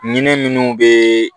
Ɲinɛ minnu bɛ